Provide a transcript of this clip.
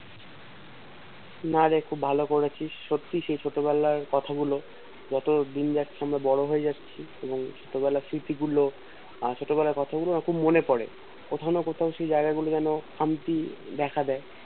না রে খুব ভালো করেছিস সত্যি সেই ছোট বেলায় কথা গুলো যত দিন যাচ্ছে আমরা বড়ো হয়ে যাচ্ছি ছোটবেলার স্মৃতি গুলো আমার ছোট বেলার কথা গুলো না খুব মনে পরে কখনো কোনো জায়গা গুলোতে খামতি দেখা দেয়